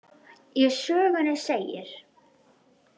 Í sögunni segir: